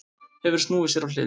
Hefur snúið sér á hliðina.